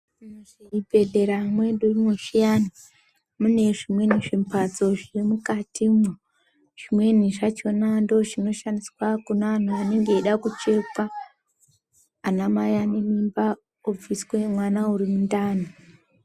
Muzvibhedhlera mwedumwo zviyani, mune zvimweni zvimbatso zviri mukatimwo. Zvimweni zvachona ndozvinoshandiswa kuna anhu anenge eyida kuchekwa, anamai ane mimba obviswe mwana uri mundani.